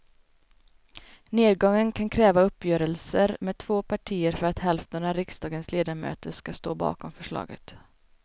Nedgången kan kräva uppgörelser med två partier för att hälften av riksdagens ledamöter ska stå bakom förslaget.